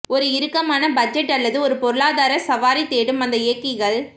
ஒரு இறுக்கமான பட்ஜெட் அல்லது ஒரு பொருளாதார சவாரி தேடும் அந்த இயக்கிகள்